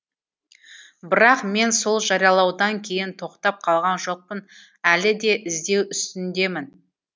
бірақ мен сол жариялаудан кейін тоқтап қалған жоқпын әлі де іздеу үстіндемін